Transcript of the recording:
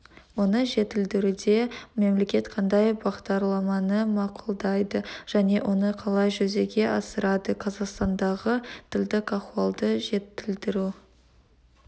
оны жетілдіруде мемлекет қандай бағдарламаны мақұлдайды және оны қалай жүзеге асырады қазақстандағы тілдік ахуалды жетілдіру